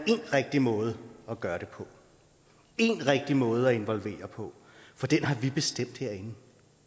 rigtig måde at gøre det på én rigtig måde at involvere på og den har vi bestemt herinde